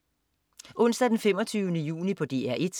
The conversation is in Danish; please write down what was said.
Onsdag den 25. juni - DR 1: